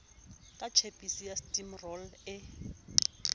ka tjhepisi ya stimorol e